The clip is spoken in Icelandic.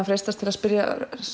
freistast til að spyrja